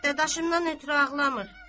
Dadaşımdan ötrü ağlamır.